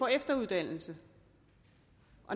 efteruddannelse